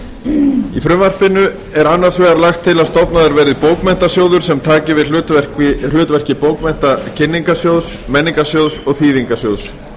í frumvarpinu er annars vegar lagt til að stofnaður verði bókmenntasjóður sem taki við hlutverki bókmenntakynningarsjóðs menningarsjóðs og þýðingarsjóðs